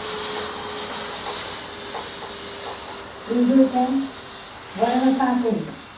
ત્રીજો છે. વર્ણશાકીન